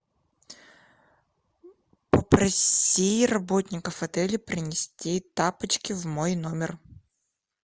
попроси работников отеля принести тапочки в мой номер